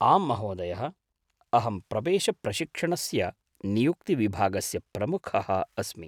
आम् महोदयः, अहं प्रवेशप्रशिक्षणस्य नियुक्तिविभागस्य प्रमुखः अस्मि।